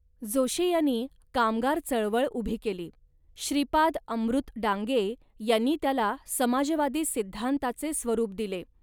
जोशी यांनी कामगार चळवळ उभी केली. श्रीपाद अमृत डांगे यांनी त्याला समाजवादी सिद्धांताचे स्वरूप दिले